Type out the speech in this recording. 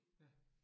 Ja